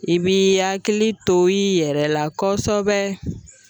I b'i hakili to i yɛrɛ la kɔsɛbɛ